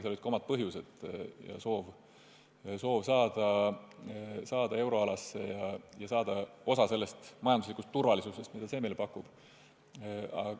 Seal olid ka omad põhjused: soov saada euroalasse, saada osa sellest majanduslikust turvalisusest, mida see meile pakub.